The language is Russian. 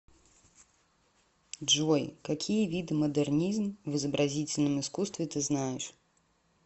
джой какие виды модернизм в изобразительном искусстве ты знаешь